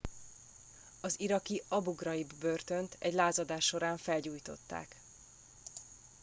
az iraki abu ghraib börtönt egy lázadás során felgyújtották